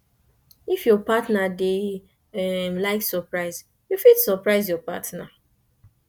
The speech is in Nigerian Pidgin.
if your partner dey um like surprise you fit surprise your partner